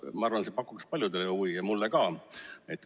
Ma arvan, et see pakuks paljudele huvi ja mulle ka.